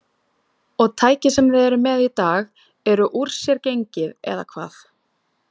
Og tækið sem þið eruð með í dag eru úr sér gengið, eða hvað?